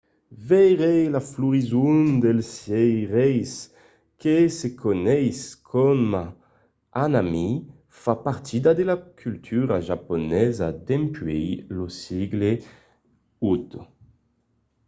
veire la florison dels cerièrs que se coneis coma hanami fa partida de la cultura japonesa dempuèi lo sègle viii